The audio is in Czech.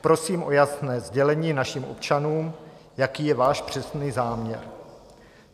Prosím o jasné sdělení našim občanům, jaký je váš přesný záměr.